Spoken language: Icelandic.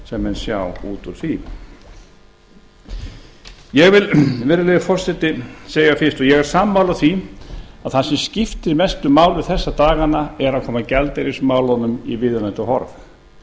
sem menn sjá út úr því ég vil virðulegi forseti segja fyrst og ég er sammála því að það sem skiptir mestu máli þessa dagana er að koma gjaldeyrismálunum í viðunandi horf